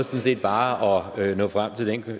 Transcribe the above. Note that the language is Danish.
set bare at nå frem til den